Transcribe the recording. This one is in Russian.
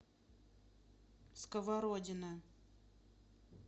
сковородино